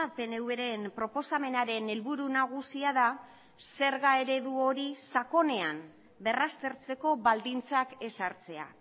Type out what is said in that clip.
pnv ren proposamenaren helburu nagusia da zerga eredu hori sakonean berraztertzeko baldintzak ezartzea